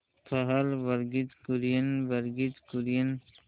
पहल वर्गीज कुरियन वर्गीज कुरियन